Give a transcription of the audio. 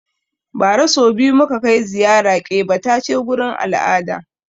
Ba ra so biyu muka kai ziyara ƙebatace gurin al'ada